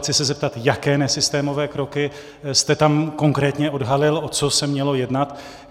Chci se zeptat, jaké nesystémové kroky jste tam konkrétně odhalil, o co se mělo jednat.